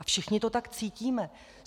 A všichni to tak cítíme.